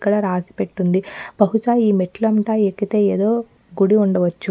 ఇక్కడ రాసిపెట్టుందిబహుశ ఈ మెట్లు అంతా ఎక్కితే ఏదో గుడి ఉండచ్చు.